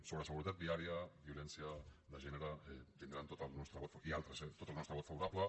sobre seguretat viària violència de gènere tindran tot el nostre i altres eh vot favorable